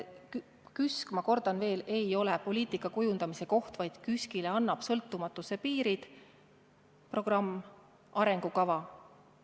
KÜSK, ma kordan veel, ei ole poliitika kujundamise koht, vaid KÜSK-ile annab sõltumatuse piirid programm, arengukava.